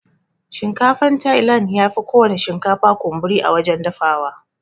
Shinkafan tailan yafi kowana shinkafa kunburi a wajan dafawa.